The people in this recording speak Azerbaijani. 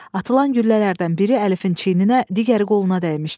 Atılan güllələrdən biri Əlifin çiyninə, digəri qoluna dəymişdi.